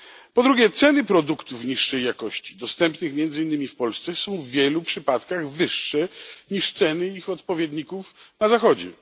Po drugie, ceny produktów niższej jakości dostępnych między innymi w Polsce są w wielu przypadkach wyższe niż ceny ich odpowiedników na Zachodzie.